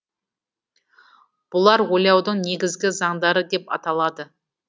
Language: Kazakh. бұлар ойлаудың негізгі заңдары деп аталады